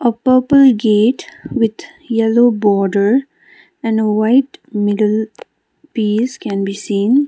a purple gate with yellow border and white middle piece can be seen.